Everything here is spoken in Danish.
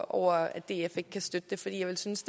over at df ikke kan støtte det for jeg synes